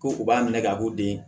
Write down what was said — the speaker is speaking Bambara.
Ko u b'a minɛ ka k'u den ye